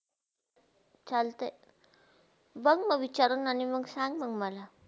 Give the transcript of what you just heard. चालते, बघ म विचारुण आणि मंग सांग म मला.